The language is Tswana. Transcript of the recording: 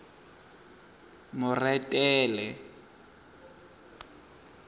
moretele